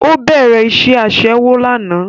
Ó bẹ̀rẹ̀ iṣẹ́ Aṣẹ́wó lánàá